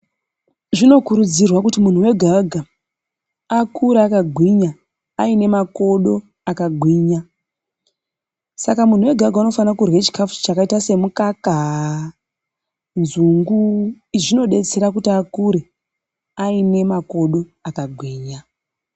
Zvinokurudzirwa kuti muntu wega wega akure akagwinya aine makodo akagwinya saka muntu wega wega unofane kuryavchikafu chakaite semukaka, nzungu izvi zvinodetsera kuti akure aine makodo akagwinya.